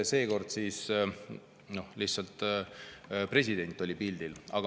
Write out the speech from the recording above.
Seekord lihtsalt president oli pildil.